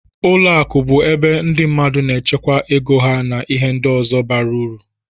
Ụlọ akụ bụ ebe ndị mmadụ na-echekwa ego ha na ihe ndị ọzọ bara ụrụ.